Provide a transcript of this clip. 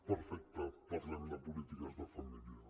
perfecte parlem de polítiques de família